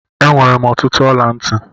Enwere m ọtụtụ ọla ntị.